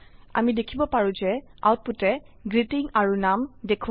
আমি দেখিব পাৰো যে আউটপুটে গ্ৰীটিং আৰু নাম দেখোৱায়